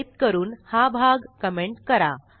type करून हा भाग कमेंट करा